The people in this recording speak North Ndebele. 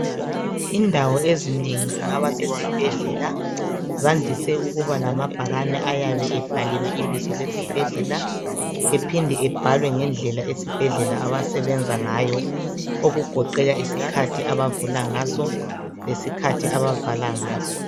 Indawo ezinengi kungaba sesibhedlela zandise ukuba lamabhakane ayabe ebhaliwe ibizo lesibhedlela aphinde njalo abhalwe ngendlela abasebenza ngayo okugoqela isikhathi abavula ngaso lesikhathi abavala ngaso.